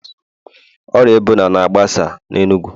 Ọrịa Ebola na-agbasa n'enugu